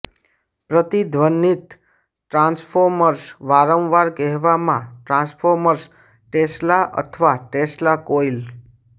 પ્રતિધ્વનિત transformer વારંવાર કહેવામાં transformer Tesla અથવા ટેસ્લા કોઇલ